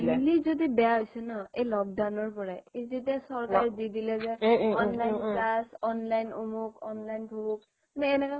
বেয়া হৈছে ন এই lockdownৰ পৰাই এই যে চৰকাৰে দি দিলে যে online class online অমুক online ভহুক কিন্তু এনেকুৱা